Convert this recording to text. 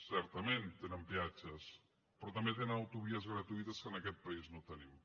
certament tenen peatges però també tenen autovies gratuïtes que en aquest país no tenim